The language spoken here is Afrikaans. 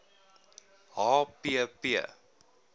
h p p